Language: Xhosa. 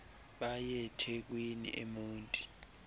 bay ethekwini emonti